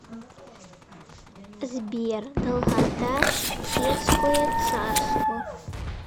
сбер долгота хеттское царство